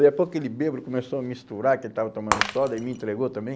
Depois aquele bêbado, começou a misturar que ele estava tomando soda e me entregou também.